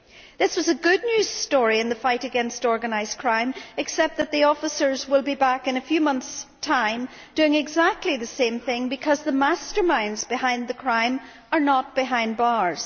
This was a good news story in the fight against organised crime, except that the officers will be back in a few months' time doing exactly the same thing because the masterminds behind the crime are not behind bars.